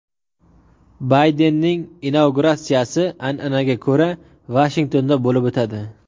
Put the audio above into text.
Baydenning inauguratsiyasi an’anaga ko‘ra Vashingtonda bo‘lib o‘tadi.